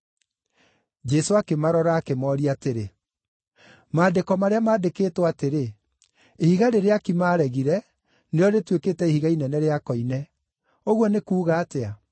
Jesũ akĩmarora, akĩmooria atĩrĩ, “Maandĩko marĩa mandĩkĩtwo atĩrĩ: “ ‘Ihiga rĩrĩa aaki maaregire, nĩrĩo rĩtuĩkĩte ihiga inene rĩa koine’, ũguo nĩ kuuga atĩa?